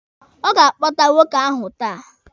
Ọ ga-akpọta nwoke ahụ taa.